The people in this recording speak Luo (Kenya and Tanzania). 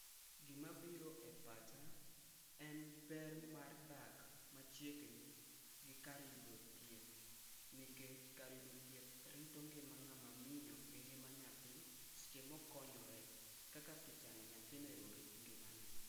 Gima biro e pacha en ber mar dak machiegni gi kar yudo thieth nikech kar yudo thieth rito ngima ngama miyo gi ngima nyathi e seche ma okonyore kaka pichano nyathino ero orit ngimane